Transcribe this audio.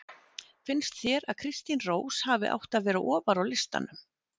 Finnst þér að Kristín Rós hafi átt að vera ofar á listanum?